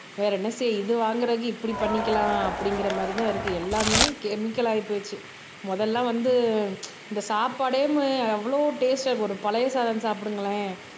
வேற என்ன செய்ய இது வாங்குறதுக்கு இப்படி பண்ணிக்கலாம் அப்படிங்கிற மாதிரிதான் இருக்கு எல்லாமே கெமிக்கல் ஆகிப்போச்சு முதல்ல வந்து இந்த சாப்பாடேயுமே எவ்வளோ டேஸ்ட்டா இருக்கும் ஒரு பழைய சாதம் சாப்பிடுங்களேன்